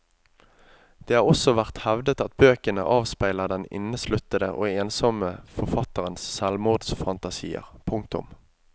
Det har også vært hevdet at bøkene avspeiler den innesluttede og ensommme forfatterens selvmordsfantasier. punktum